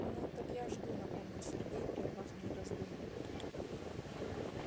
ну так я жду напомнил сергей прервав мои раздумья